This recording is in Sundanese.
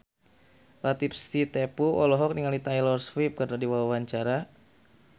Latief Sitepu olohok ningali Taylor Swift keur diwawancara